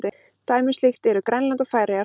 Dæmi um slíkt eru Grænland og Færeyjar.